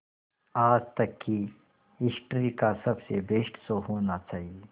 आज तक की हिस्ट्री का सबसे बेस्ट शो होना चाहिए